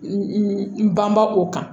N banbaa o kan